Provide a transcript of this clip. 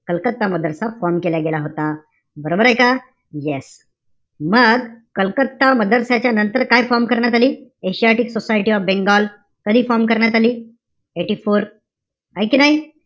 Calcutta Madrasa form केला गेला होता. बरोबर आहे का? yes. मग कलकत्ता मदरसा च्या नंतर काय form करण्यात आली? Asiatic society of Bengal. कधी form करण्यात आली? Eighty-four. है का नाई?